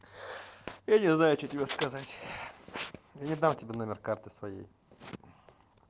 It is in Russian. я не знаю что тебе сказать я не дам тебе номер карты своей